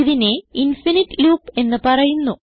ഇതിനെ infinite loop എന്ന് പറയുന്നു